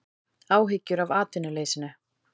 Áhyggjur af atvinnuleysinu